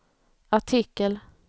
artikel